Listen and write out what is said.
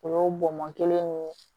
O y'o bɔnbɔn kelen ni